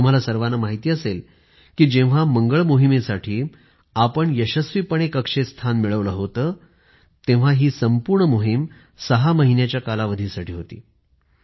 तुम्हा सर्वाना माहित असेल कि जेव्हा मंगळ मोहिमेसाठी आपण यशस्वीपणे कक्षेत स्थान मिळवलं होत तेव्हा हि संपूर्ण मोहीम ६ महिन्याच्या कालावधीसाठी होती